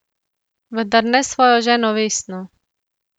Vendar ne s svojo ženo Vesno...